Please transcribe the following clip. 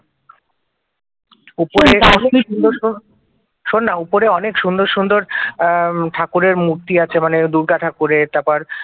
শোন না উপরে অনেক সুন্দর সুন্দর আহ ঠাকুরের মূর্তি আছে মানে দূর্গা ঠাকুরের তারপর